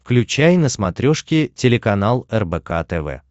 включай на смотрешке телеканал рбк тв